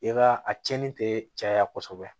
I ka a cɛnni tɛ caya kɔsɔbɛ